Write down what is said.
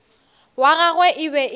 wa gagwe e be e